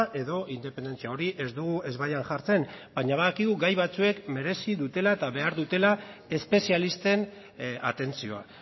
edo independentzia hori ez dugu ezbaian jartzen baina badakigu gai batzuek merezi dutela eta behar dutela espezialisten atentzioa